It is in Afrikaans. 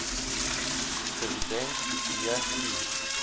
dividend d i